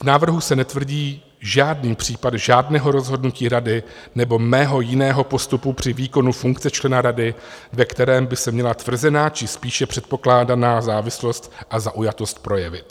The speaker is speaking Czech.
V návrhu se netvrdí žádný případ žádného rozhodnutí rady nebo mého jiného postupu při výkonu funkce člena rady, ve kterém by se měla tvrzená či spíše předpokládaná závislost a zaujatost projevit.